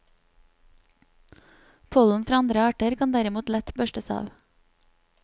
Pollen fra andre arter kan derimot lett børstes av.